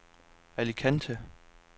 Alicante